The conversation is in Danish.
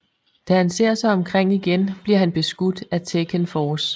Da han ser sig omkring igen bliver han beskudt af Tekken Force